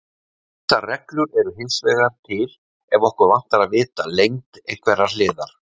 Ýmsar reglur eru hins vegar til ef okkur vantar að vita lengd einhverrar hliðar.